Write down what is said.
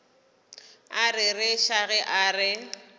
a rereša ge a re